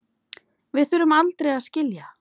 Við þurfum aldrei að skilja.